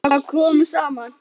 Þar komu saman